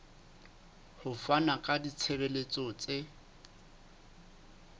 ho fana ka ditshebeletso tse